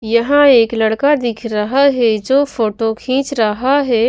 यहां एक लड़का दिख रहा है जो फोटो खींच रहा है।